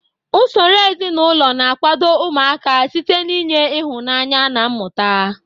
Usoro ezinụlọ na-akwado ụmụaka site n'inye ịhụnanya na mmụta.